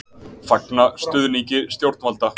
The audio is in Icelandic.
Fagna stuðningi stjórnvalda